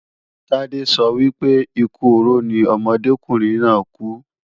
Tádé sọ wípé, ikú oró ni ọ̀dọ́mọkùnrin náà kú.